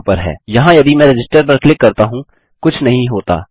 यहाँ यदि मैं रजिस्टर पर क्लिक करता हूँ कुछ नहीं होता